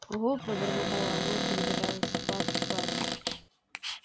угу пробормотала она перебирая складки платья